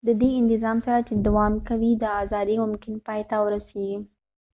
ددې انتظام سره چې دوام کوي دا ازادي ممکن پای ته ورسیږی